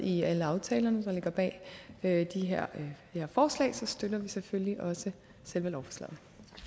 i alle aftalerne der ligger bag det her forslag støtter vi selvfølgelig også selve lovforslaget